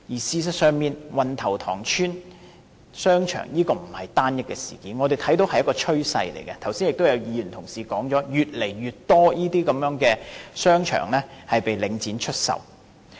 事實上，運頭塘邨商場並不是單一事件，我們看到的是一種趨勢，正如剛才也有同事說，現時的情況是越來越多商場被領展出售。